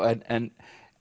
en